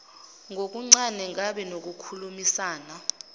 ngokuncane ngibe nokukhulumisana